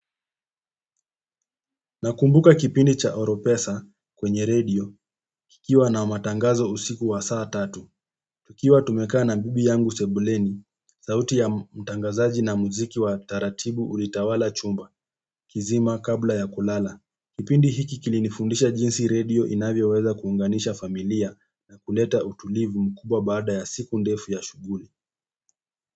Nakumbuka kipindi cha Oropesa kwenye radio, kikiwa na matangazo usiku wa saa tatu. Tukiwa tumekaa na bibi yangu sebuleni sauti ya mtangazaji na muziki wataratibu ulitawala chumba kizima kabla ya kulala kipindi hiki kilinifundisha jinsi radio inavyoweza kuunganisha familia na kuleta utulivu mkubwa baada ya siku ndefu ya shughuli.